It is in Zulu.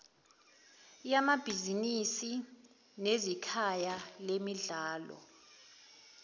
yamabhizinisi neyikhaya lemidlalo